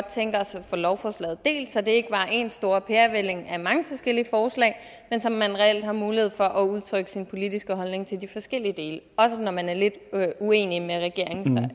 tænke os at få lovforslaget delt så det ikke bare er en stor pærevælling af mange forskellige forslag men så man reelt har mulighed for at udtrykke sin politiske holdning til de forskellige dele også når man er lidt uenig med regeringen